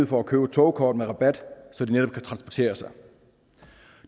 for at købe et togkort med rabat så de netop kan transportere sig